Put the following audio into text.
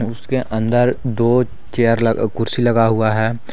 उसके अंदर दो चेयर कुर्सी लगा हुआ है।